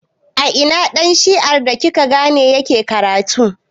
A ina ɗan shi'ar da kika gane yake karatu?